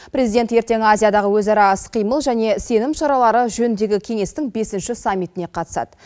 президент ертең азиядағы өзара іс қимыл және сенім шаралары жөніндегі кеңестің бесінші саммитіне қатысады